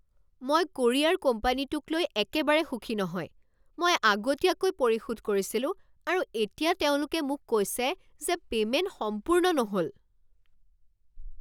মই কোৰিয়াৰ কোম্পানীটোক লৈ একেবাৰে সুখী নহয়। মই আগতীয়াকৈ পৰিশোধ কৰিছিলোঁ আৰু এতিয়া তেওঁলোকে মোক কৈছে যে পে'মেন্ট সম্পূৰ্ণ নহ'ল!